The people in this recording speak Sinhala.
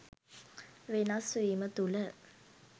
වෙනස් වීම තුල